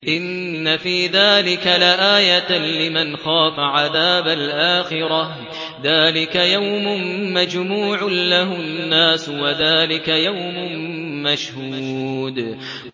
إِنَّ فِي ذَٰلِكَ لَآيَةً لِّمَنْ خَافَ عَذَابَ الْآخِرَةِ ۚ ذَٰلِكَ يَوْمٌ مَّجْمُوعٌ لَّهُ النَّاسُ وَذَٰلِكَ يَوْمٌ مَّشْهُودٌ